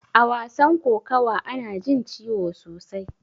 A wasan kokawa ana jin ciwo sosai.